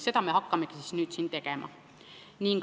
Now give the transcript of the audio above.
Seda me hakkamegi nüüd tegema.